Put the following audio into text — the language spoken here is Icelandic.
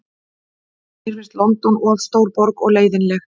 Mér finnst London of stór borg og leiðinleg.